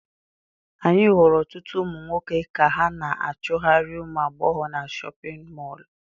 Anyị hụrụ ọtụtụ ụmụ nwoke ka ha na-achụgharị ụmụ agbọghọ na chọpịn mọọlụ.